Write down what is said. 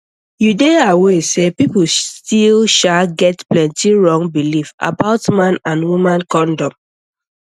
you dey aware say people still sha get plenty wrong belief about man and woman condom